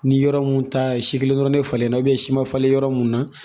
Ni yɔrɔ mun ta ye si kelen dɔrɔn ne falenna si ma falen yɔrɔ mun na